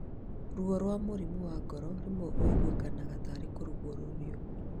Ruo rwa mũrimũ wa ngoro rĩmwe ũiguĩkanaga tarĩ kurũngũrĩrwo